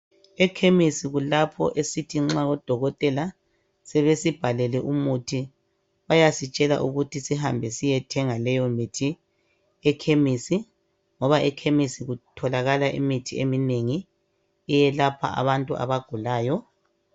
Ekhemisi kulapho esithi nxa odokotela sebesibhalele umuthi bayasitshela ukuthi sihambe siyethenga leyomithi ekhemesi ngoba ekhemesi kutholakala imithi emingi eyelapha abantu abagulayo